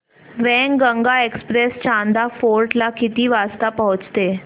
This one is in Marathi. वैनगंगा एक्सप्रेस चांदा फोर्ट ला किती वाजता पोहचते